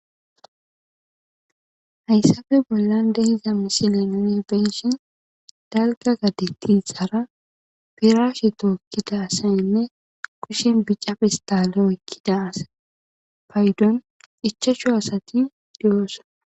hayssafe bollan dehiza misilennee benshin dalka gadetixaara piraashe tookkida asayinne kushen bicafe istaale okkida asapaydon ichachu asati di7oosa